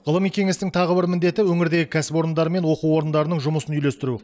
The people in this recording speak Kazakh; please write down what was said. ғылыми кеңестің тағы бір міндеті өңірдегі кәсіпорындар мен оқу орындарының жұмысын үйлестіру